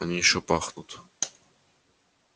они ещё пахнут